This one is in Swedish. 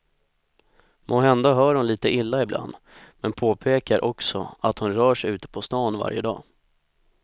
Måhända hör hon lite illa ibland men påpekar också att hon rör sig ute på stan varje dag.